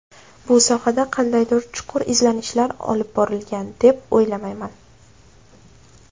Bu sohada qandaydir chuqur izlanishlar olib borilgan, deb o‘ylamayman.